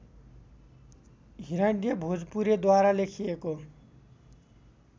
हिरण्य भोजपुरेद्वारा लेखिएको